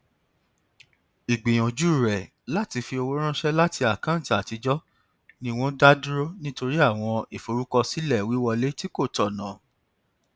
ìgbìyànjú rẹ láti fi owó ránṣẹ láti àkáǹtì àtijọ ni wọn dá dúró nítorí àwọn ìforúkọsílẹ wíwọlé tí kò tọnà